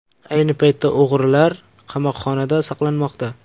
Ayni paytda o‘g‘rilar qamoqxonada saqlanmoqda.